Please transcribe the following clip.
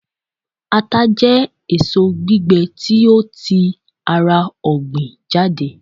ata je èso gbigbe ti o ti ara ogbin jade